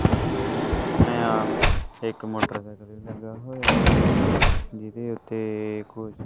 ਇਹ ਆ ਇੱਕ ਮੋਟਰਸਾਈਕਲ ਲੱਗਾ ਹੋਇਆ ਹਾ ਜਿਦੇ ਉੱਤੇ ਕੁਝ--